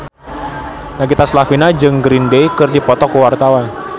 Nagita Slavina jeung Green Day keur dipoto ku wartawan